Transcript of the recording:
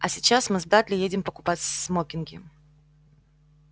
а сейчас мы с дадли едем покупать смокинги